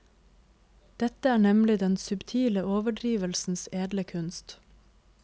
Dette er nemlig den subtile overdrivelsens edle kunst.